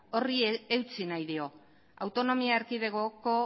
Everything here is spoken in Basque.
horri eutsi nahi dio autonomia erkidegoko